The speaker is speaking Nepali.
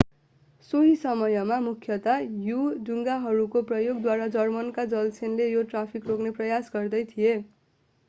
सोही समयमा मुख्यतया यु-डुङ्गाहरूको प्रयोगद्वारा जर्मनको जलसेनाले यो ट्राफिक रोक्ने प्रयास गर्दै थियो